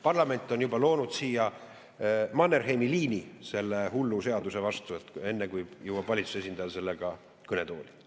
Parlament on juba loonud Mannerheimi liini selle hullu seaduse vastu, enne kui valitsuse esindaja sellega kõnetooli jõuab.